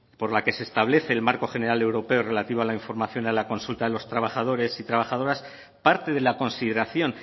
por la que se establece el marco general europeo relativo a la información y a la consulta a los trabajadores y trabajadoras parte de la consideración